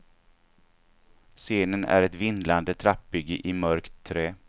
Scenen är ett vindlande trappbygge i mörkt trä.